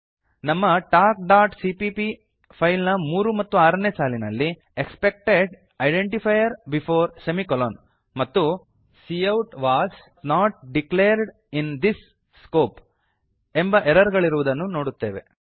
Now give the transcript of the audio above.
ನಮ್ಮ talkಸಿಪಿಪಿ ಫೈಲ್ ನ ಮೂರು ಮತ್ತು ಆರನೇ ಸಾಲಿನಲ್ಲಿ ಎಕ್ಸ್ಪೆಕ್ಟೆಡ್ ಐಡೆಂಟಿಫೈಯರ್ ಬಿಫೋರ್ ಸೆಮಿಕೊಲಾನ್ ಮತ್ತು cout was not declared in this scope ಎಂಬ ಎರರ್ ಗಳಿರುವುದನ್ನು ನೋಡುತ್ತೇವೆ